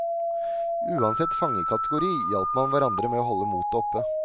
Uansett fangekategori hjalp man hverandre med å holde motet oppe.